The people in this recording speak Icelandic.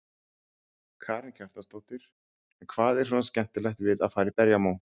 Karen Kjartansdóttir: En hvað er svona skemmtilegt við að fara í berjamó?